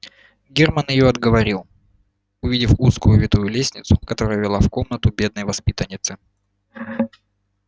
германн её отговорил увидел узкую витую лестницу которая вела в комнату бедной воспитанницы